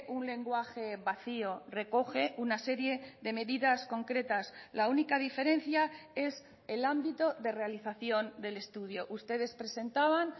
un lenguaje vacío recoge una serie de medidas concretas la única diferencia es el ámbito de realización del estudio ustedes presentaban